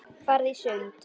Farðu í sund.